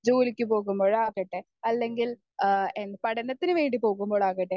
speaker 1 ജോലിക്ക് പോകുമ്പോഴാകട്ടെ അല്ലെങ്കിൽ ആഹ് എന്താ നു പഠനത്തിനുവേണ്ടി പോകുമ്പോൾ ആകട്ടെ